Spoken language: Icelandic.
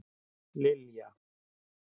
Lilja